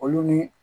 Olu ni